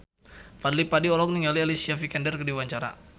Fadly Padi olohok ningali Alicia Vikander keur diwawancara